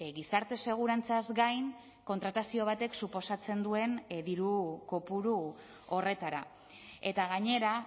gizarte segurantzaz gain kontratazio batek suposatzen duen diru kopuru horretara eta gainera